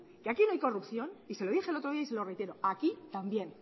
que aquí no hay corrupción y se lo dije el otro día y se lo reitero aquí también